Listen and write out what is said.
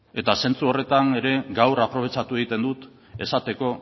eta zentzu horretan ere gaur aprobetxatu egiten dut esateko